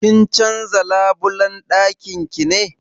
Kin canza labulan dakin ki ne?